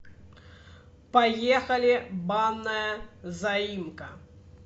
поехали банная заимка